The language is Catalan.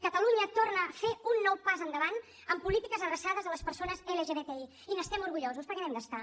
catalunya torna a fer un nou pas endavant en polítiques adreçades a les persones lgbti i n’estem orgullosos perquè n’hem d’estar